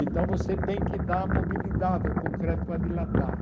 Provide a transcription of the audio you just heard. Então você tem que dar mobilidade ao concreto para dilatar.